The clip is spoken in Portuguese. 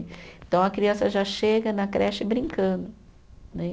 Então, a criança já chega na creche brincando né.